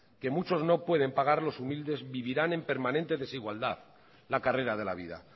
que muchos no pueden pagar los humildes vivirán en permanente desigualdad la carrera de la vida